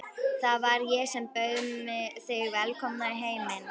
Það var ég sem bauð þig velkomna í heiminn.